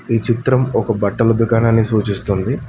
ఈ చిత్రం ఒక బట్టల దుకాణాన్నీ సూచిస్తుంది.